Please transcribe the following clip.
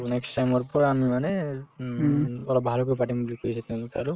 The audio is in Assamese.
next time ৰ পৰা আমি মানে উম অলপ ভালকৈ পাতিম বুলি কৈছে তেওঁলোকে আৰু